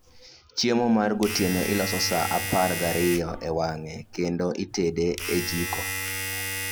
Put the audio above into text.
Chiemo mar gotieno iloso saa apar gariyo e wang'e, kendo itede e jiko